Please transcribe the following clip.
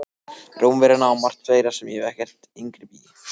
Rómverjana og margt fleira sem ég hef ekkert inngrip í.